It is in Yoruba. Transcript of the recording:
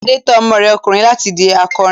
Adé tọ́ ọmọ rẹ ọkùnrin láti di akọrin.